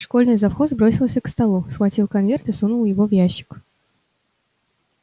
школьный завхоз бросился к столу схватил конверт и сунул его в ящик